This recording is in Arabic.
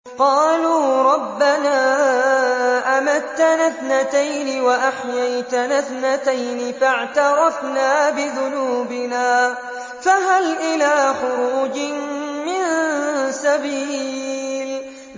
قَالُوا رَبَّنَا أَمَتَّنَا اثْنَتَيْنِ وَأَحْيَيْتَنَا اثْنَتَيْنِ فَاعْتَرَفْنَا بِذُنُوبِنَا فَهَلْ إِلَىٰ خُرُوجٍ مِّن سَبِيلٍ